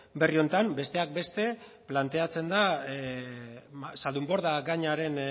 berri honetan besteak beste planteatzen da zaldunborda gainaren